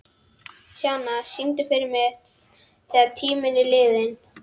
Sjana, syngdu fyrir mig „Þegar tíminn er liðinn“.